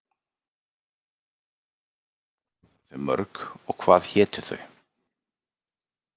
Ef svo er, hvað voru þau mörg og hvað hétu þau?